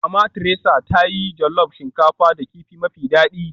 Mama Theresa ta yi jollof shinkafa da kifi mafi daɗi